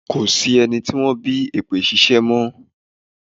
Ko sí ẹni tí wọ́n bí èpè ṣíṣẹ́ mọ́.